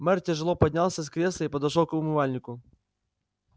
мэр тяжело поднялся с кресла и подошёл к умывальнику